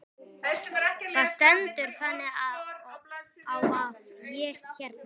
Það stendur þannig á að ég hérna.